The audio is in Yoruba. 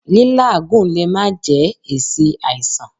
Lí́làágùn lè má jẹ́ èsì àìsàn.